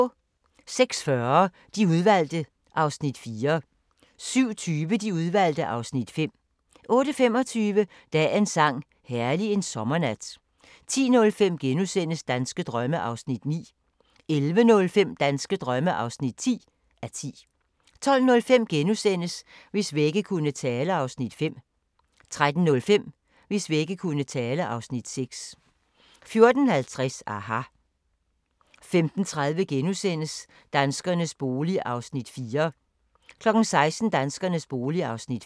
06:40: De Udvalgte (Afs. 4) 07:20: De Udvalgte (Afs. 5) 08:25: Dagens sang: Herlig en sommernat 10:05: Danske drømme (9:10)* 11:05: Danske drømme (10:10) 12:05: Hvis vægge kunne tale (Afs. 5)* 13:05: Hvis vægge kunne tale (Afs. 6) 14:50: aHA! 15:30: Danskernes bolig (Afs. 4)* 16:00: Danskernes bolig (Afs. 5)